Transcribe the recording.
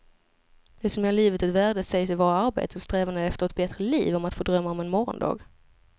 Det som ger livet ett värde sägs ju vara arbetet och strävandet efter ett bättre liv, om att få drömma om en morgondag.